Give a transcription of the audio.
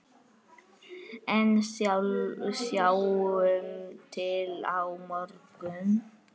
En sjáum til á morgun!